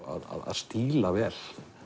að stíla vel